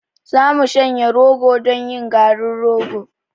Za mu shanya rogo don yin garin rogo.